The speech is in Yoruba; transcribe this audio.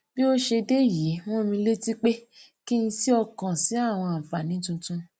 bí ó ṣe dé yìí rán mi létí pé kí n si okan si àwọn anfaani tuntun